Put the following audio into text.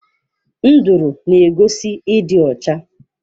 Nduru n'egosi ịdị ọcha.